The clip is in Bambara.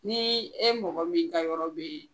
Ni e mɔgɔ min ka yɔrɔ be yen